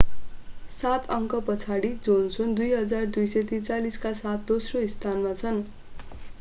सात अङ्कपछाडि जोनसन 2,243 का साथ दोस्रो स्थानमा छन्